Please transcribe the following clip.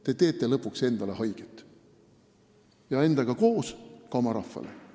Te teete lõpuks endale haiget ja endaga koos ka oma rahvale.